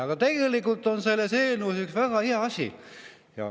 Aga tegelikult on selles eelnõus üks väga hea asi.